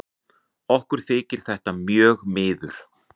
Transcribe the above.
Okkur þykir þetta mjög miður.